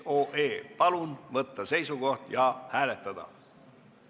Palun võtta seisukoht ja hääletada!